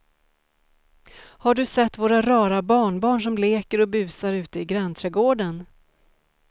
Har du sett våra rara barnbarn som leker och busar ute i grannträdgården!